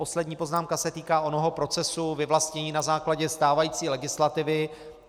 Poslední poznámka se týká onoho procesu vyvlastnění na základě stávající legislativy.